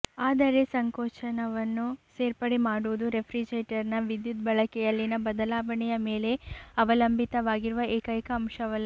ಆದರೆ ಸಂಕೋಚನವನ್ನು ಸೇರ್ಪಡೆ ಮಾಡುವುದು ರೆಫ್ರಿಜರೇಟರ್ನ ವಿದ್ಯುತ್ ಬಳಕೆಯಲ್ಲಿನ ಬದಲಾವಣೆಯ ಮೇಲೆ ಅವಲಂಬಿತವಾಗಿರುವ ಏಕೈಕ ಅಂಶವಲ್ಲ